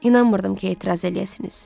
İnanmırdım ki, etiraz eləyəsiniz.